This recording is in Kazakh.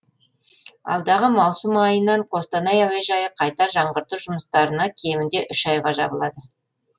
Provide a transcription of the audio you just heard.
алдағы маусым айынан қостанай әуежайы қайта жаңғырту жұмыстарына кемінде үш айға жабылады